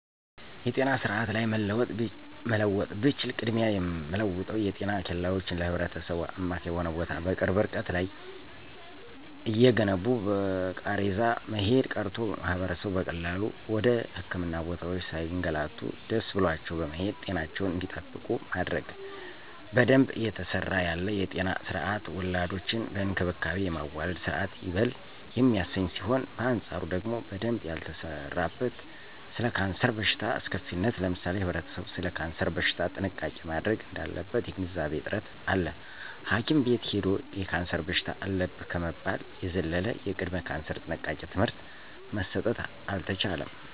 የጤና ስርአት ላይ መለወጥ ብችል ቅድሚያ የምለወጠው የጤና ኬላወችን ለህብረተሰቡ አማካኝ በሆነ ቦታ በቅርብ እርቀት ላይ እየገነቡ በቃሬዛ መሄድ ቀርቶ ማህበረሰቡ በቀላሉ ወደ ህክምና ቦታወች ሳይገላቱ ደሰ ብሏቸው በመሄድ ጤናቸውን እንዲጠብቁ ማድረግ። በደንብ እየተሰራ ያለ የጤና ስርአት ወላዶችን በእንክብካቤ የማዋለድ ስርአት ይበል የሚያሰኝ ሲሆን በአንጻሩ ደግሞ በደንብ ያልተሰራበት ስለ ካንሰር በሽታ አስከፊነት ለምሳሌ ህብረተሰቡ ሰለ ካንሰር በሽታ ጥንቃቄ ማድረግ እዳለበት የግንዛቤ እጥረት አለ ሀኪም ቤት ሂዶ የካንሰር በሽታ አለብህ ከመባል የዘለለ የቅድመ ካንሰር ጥንቃቄ ትምህርት መሰጠት አልተቻለም።